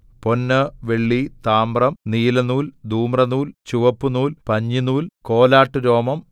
പൊന്ന് വെള്ളി താമ്രം നീലനൂൽ ധൂമ്രനൂൽ ചുവപ്പുനൂൽ പഞ്ഞിനൂൽ കോലാട്ടുരോമം